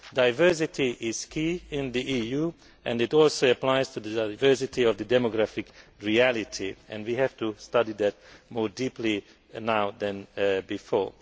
Diversity is key in the EU and it also applies to diversity of the demographic reality, and we have to study that more deeply now than before.